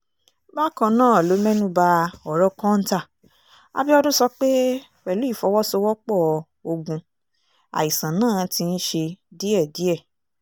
bákan náà ló mẹ́nu ba ọ̀rọ̀ kọ́ńtà abiodun sọ pé pẹ̀lú ìfọwọ́sowọ́pọ̀ ogun àìsàn náà ti ń ṣe díẹ̀díẹ̀